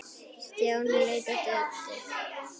Stjáni leit á Döddu.